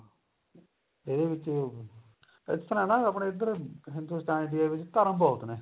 ਇਹਦੇ ਵਿੱਚ ਇਸ ਤਰ੍ਹਾਂ ਨਾ ਆਪਣੇ ਇੱਧਰ ਹਿੰਦੁਸਤਾਨ ਵਿੱਚ ਵੀ ਇਹ ਏ ਵੀ ਧਰਮ ਬਹੁਤ ਨੇ